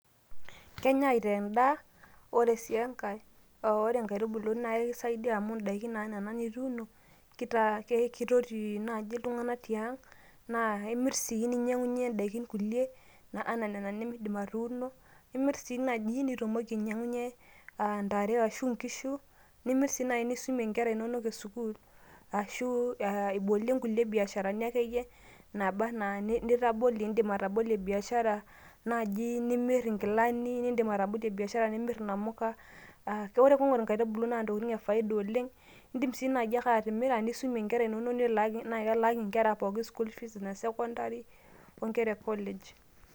Kenyai aitaa en'daa ore si enkae ore inkaitubulu naa ekisaidia amu in'daiki naa nena nituuno keitoti naaji iltung'anak te a'ng naa imirr sii ninyang'unyie kulie daiki nena nemiindim atuuno , niimirr sii naji ninyang'unyie ntare arashu inkishu nimirr sii naji nisumie inkera inonok e CS[school]CS arashu ibolie kulie biasharani akeyie naaba anaa nitabolie anaa indim atobolo biashara naaji nimirr inkilani , inamuka ore piing'or inkaitubulu naa intokiti'ng e faida oleng indim sii naji ake atimira niisum inkera inonok naa kelaaki inkera pookin CS[school fees]CS ine CS[secondary]SC oo inkera e CS[collage]CS.